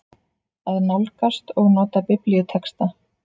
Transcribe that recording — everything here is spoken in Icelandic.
AÐ NÁLGAST OG NOTA BIBLÍUTEXTA